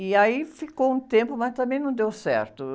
E aí ficou um tempo, mas também não deu certo.